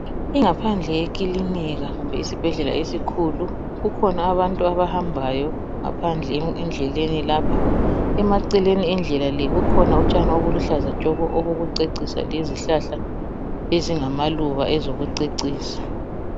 Ingaphandle yekilinika kumbe isibhedlela esikhulu kukhona bantu abahambayo ngaphandle endleleni lapha. Emaceleni endlela le kukhona utshani obuluhlaza tshoko obokucecisa lezihlahla ezingamaluba ezokucecisa.